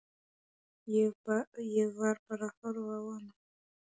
Ég var bara að horfa á hana.